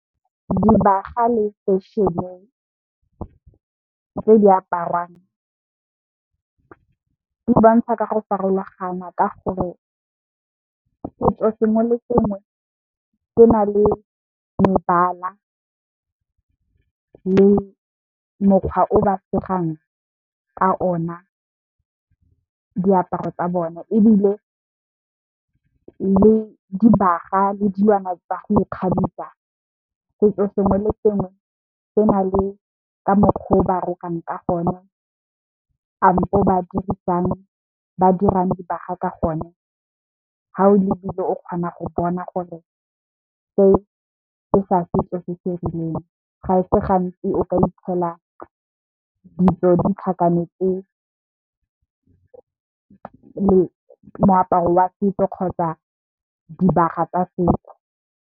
Dibaga le fešene tse di aparwang, di bontsha ka go farologana ka gore setso sengwe le sengwe se na le mebala, le mokgwa o ba segang ka ona diaparo tsa bona. Ebile le dibaga le dilwana tsa go ikgabisa, setso sengwe le sengwe se na le ka mokgwa o ba rokang ka gone ampo ba dirisang ba dirang dibaga ka gona. Ga o lebile o kgona go bona gore se, ke sa setso se se rileng ga e se gantsi o ka itlhela ditso di tlhakanetse moaparo wa setso kgotsa dibaga tsa setso.